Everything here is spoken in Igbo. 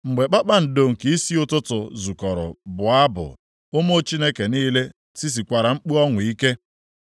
Mgbe kpakpando nke isi ụtụtụ zukọrọ bụọ abụ, ụmụ Chineke niile tisikwara mkpu ọṅụ ike?